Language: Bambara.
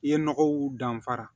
I ye nɔgɔw danfara